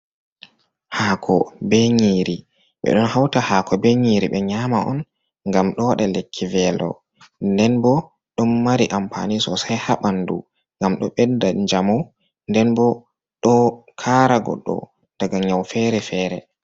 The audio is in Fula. Hako be nyiri, ɓe ɗon hauta hako be nyiri ɓe nyama on ngam ɗo waɗa lekki velo, nden bo ɗon mari ampani sosei ha ɓandu ngam ɗo bedda njamu, nden bo ɗo kara godɗo daga nyau fere- fere.